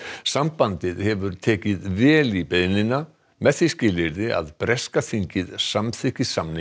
sambandið hefur tekið vel í beiðnina með því skilyrði að breska þingið samþykki samning